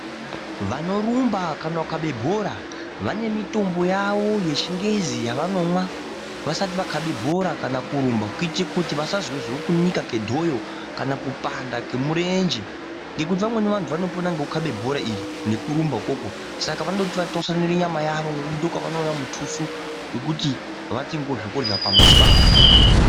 Vanorumba kana kukabe bhora vanemitombo yavo yechingezi yavanomwa vasati vakabe bhora kana kurumba kuitire kuti vasazozwe kunika kedhoyo kana kupanda kemurenje ngekuti vamweni vantu vanopona ngekukabe bhora iri nekurumba ukoko saka vanoti vatwasanure nyama yavo ngekuti ndokwavanoona mutusu wekuti vatengewo zvekurya pamuzi pavo.